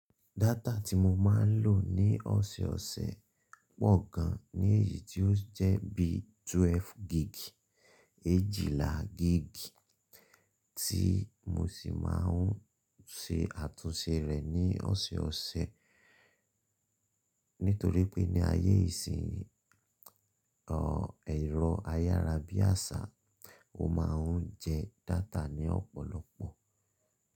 Data tí mo máa ń lò ní ọ̀sẹ̀ẹ̀ ọ̀sẹ̀ pọ̀ gan ní èyí tí ó jẹ́ bí twelve gig, eéjìlá gig tí mo sì máa ń ṣe àtúnṣe rẹ̀ ní ọ̀sẹ̀ẹ̀ ọ̀sẹ̀. Nítorí pé ní ayé ìsin ẹ̀rọ ayára bí àṣá, o máa ń jẹ data ní ọ̀pọ̀lọpọ̀.